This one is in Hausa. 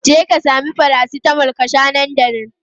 Jeka sami paracetamol ka sha nan da nan!